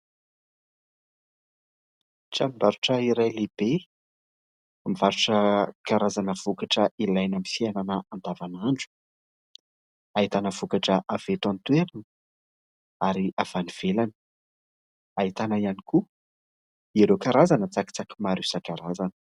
Tranombarotra iray lehibe mivarotra karazana vokatra ilaina amin'ny fiainana andavan'andro ahitana vokatra avy eto an-toerana ary avy any ivelany ahita ihany koa ireo karazana tsakitsaky maro isan-karazany